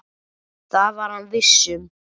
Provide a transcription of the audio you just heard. Það var hann viss um.